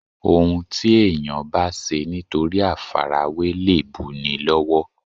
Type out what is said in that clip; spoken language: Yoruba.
Òun ti èèyàn bá ṣe nítorí àfarawé lè bu ni lọ́wọ́